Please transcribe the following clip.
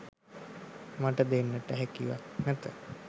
මට දෙන්නට හැකියාවක් නැත